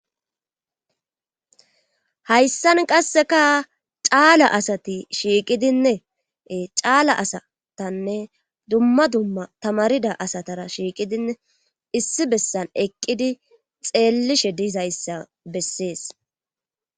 Haysan qasika cala asati shiqidin duma duma tamarida asara eqidinne xelishe dizayssa besses.